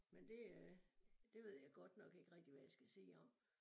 Men det øh det ved jeg godt nok ikke rigtig hvad jeg skal sige om